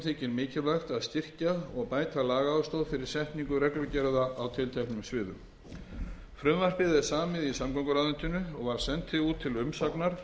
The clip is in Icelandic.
þykir mikilvægt að styrkja og bæta lagastoð fyrir setningu reglugerða á tilteknum sviðum frumvarpið er samið í samgönguráðuneytinu og var sent út til umsagnar